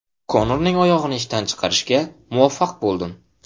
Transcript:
Konorning oyog‘ini ishdan chiqarishga muvaffaq bo‘ldim.